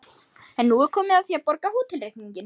En nú er komið að því að borga hótelreikninginn.